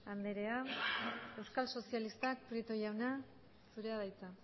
andrea euskal sozialistak prieto jauna zure da hitza